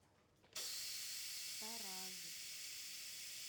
тараз